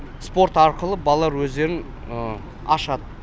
спорт арқылы балалар өздерін ашады